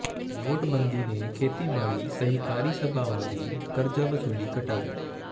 ਨੋਟਬੰਦੀ ਨੇ ਖੇਤੀਬਾੜੀ ਸਹਿਕਾਰੀ ਸਭਾਵਾਂ ਦੀ ਕਰਜ਼ਾ ਵਸੂਲੀ ਘਟਾਈ